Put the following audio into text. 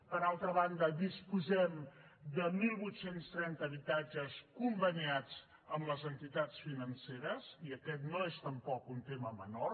per altra banda disposem de divuit trenta habitatges conveniats amb les entitats financeres i aquest no és tampoc un tema menor